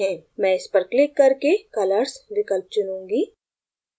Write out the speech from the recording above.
मैं इस पर क्लिक करके colors विकल्प चुनूँगी